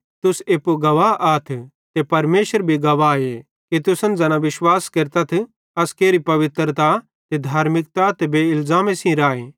तुस एप्पू गवाह आथ ते परमेशर भी गवाहे कि तुसन ज़ैना विश्वास केरतथ अस केरी पवित्रता ते धार्मिकता ते बेइलज़ामे सेइं राए